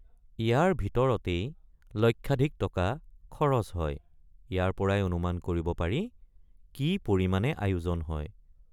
ইয়াৰ ভিতৰতেই লক্ষাধিক টকা খৰচ হয় ইয়াৰপৰাই অনুমান কৰিব পাৰি কি পৰিমাণে আয়োজন হয়।